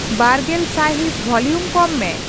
ᱵᱟᱨᱜᱮᱞ ᱥᱟᱭᱦᱤᱸᱥ ᱵᱷᱚᱞᱤᱭᱚᱢ ᱠᱚᱢ ᱢᱮ